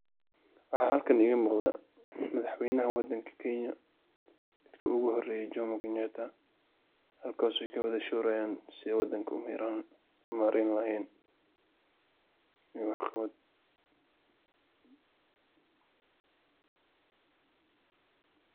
Maxa halkan iga muqdah madaxweeynaha wadanga keenya midki ugu horaysay, jomo keenyataa halkaso UGA Wala shoorayan danga u marayni wa in waxqabaat .